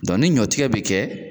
ɲɔtigɛ bɛ kɛ